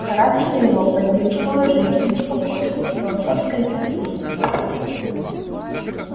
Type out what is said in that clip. в характере его появились положительность спокойствие философское терпение